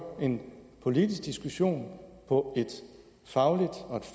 en politisk diskussion på et fagligt og